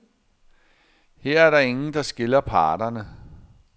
Her er der ingen, der skiller parterne.